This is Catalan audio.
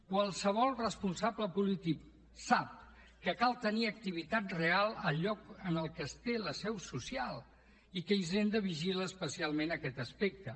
qualsevol responsable polític sap que cal tenir activitat real al lloc en el que es té la seu social i que hisenda vigila especialment aquest aspecte